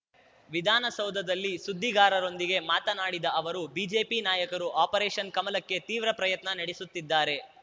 ವಿಧಾನಸೌಧದಲ್ಲಿ ಸುದ್ದಿಗಾರರೊಂದಿಗೆ ಮಾತನಾಡಿದ ಅವರು ಬಿಜೆಪಿ ನಾಯಕರು ಆಪರೇಷನ್‌ ಕಮಲಕ್ಕೆ ತೀವ್ರ ಪ್ರಯತ್ನ ನಡೆಸುತ್ತಿದ್ದಾರೆ